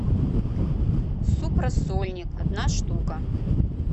суп рассольник одна штука